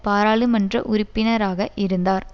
பாராளுமன்ற உறுப்பினராக இருந்தார்